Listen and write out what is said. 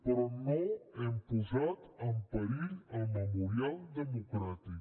però no hem posat en perill el memorial democràtic